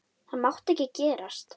Það mátti ekki gerast.